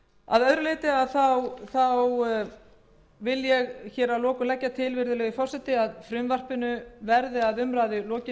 að skoða sérstaklega þann þátt og fara yfir hann að lokum legg ég til virðulegi forseti að frumvarpinu verði að umræðu lokinni